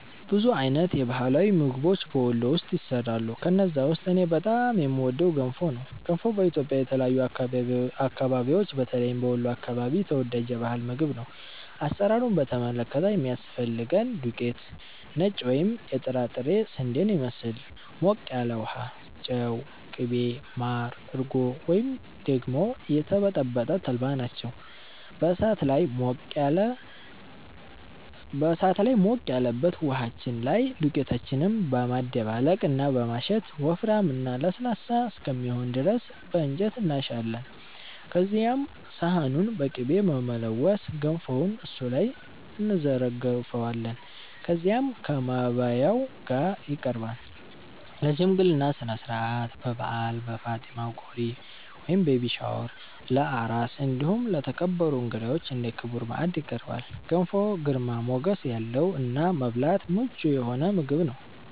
ብዙ አይነት የባህላዊ ምግቦች በ ወሎ ውስጥ ይሰራሉ። ከነዛ ውስጥ እኔ በጣም የምወደው ገንፎ ነው። ገንፎ በኢትዮጵያ የተለያዩ አከባቢዎች በተለይም በ ወሎ አከባቢ ተወዳጅ የ ባህል ምግብ ነው። አሰራሩን በተመለከተ የሚያስፈልገን ዱቄት(ነጭ ወይም የጥራጥሬ ስንዴን ይመስል)፣ ሞቅ ያለ ውሃ፣ ጨው፣ ቅቤ፣ ማር፣ እርጎ ወይም ደግሞ የተበጠበጠ ተልባ ናቸው። በ እሳት ላይ ሞቅ ያለበት ውሃችን ላይ ዱቄታችንን በማደባለቅ እና በማሸት ወፍራም እና ለስላሳ እስከሚሆን ድረስ በ እንጨት እናሻለን። ከዚያም ሰሃኑን በ ቅቤ በመለወስ ገንፎውን እሱ ላይ እንዘረግፈዋለን። ከዚያም ከ ማባያው ጋ ይቀርባል። ለ ሽምግልና ስነስርዓት፣ በ በዓል፣ በ ፋጢማ ቆሪ(ቤቢ ሻወር) ፣ለ አራስ እንዲሁም ለተከበሩ እንግዳዎች እንደ ክቡር ማዕድ ይቀርባል። ገንፎ ግርማ ሞገስ ያለው እና ለመብላት ምቹ የሆነ ምግብ ነው።